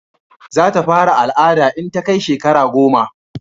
za ta fara al'ada in ta kai shekara goma